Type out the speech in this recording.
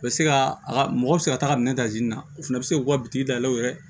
U bɛ se ka a ka mɔgɔ bɛ se ka taga minɛn ta na o fana bɛ se k'u ka bitiki da u yɛrɛ